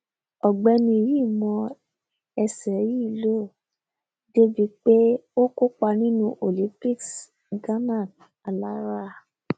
ọgbẹni yìí mọ ẹsẹ yìí lò dé ibi pé ó kópa nínú olympics ganan alára